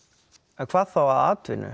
en hvað þá að atvinnu